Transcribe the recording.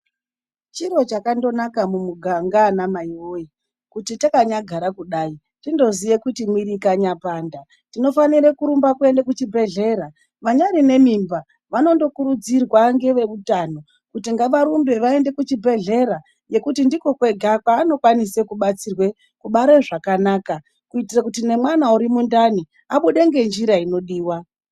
Chiro chakandonaka mumuganga ana mai woye, kuti takanyagara kudai tindoziye kuti mwiri ikanyapanda tinofanira kurumba kuende kuchibhedhlera. Vanyari nemimba vanondokuridzirwa ngevehutano kuti ngavarumbe vaende kuchibhedhlera ngekuti ndiko kwega kwawanokwanise kubatsirwe kubara zvakanaka kuitire kuti ngemwana ari mundani abude ngenjira inodiwa.